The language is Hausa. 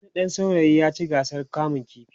wani ɗan saurayi ya ci gasar kamun ƙifi